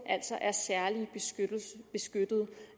særligt beskyttede